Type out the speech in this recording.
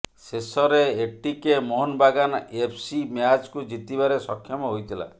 ଶେଷରେ ATK Mohun Bagan FC ମ୍ୟାଚକୁ ଜିତିବାରେ ସକ୍ଷମ ହୋଇଥିଲା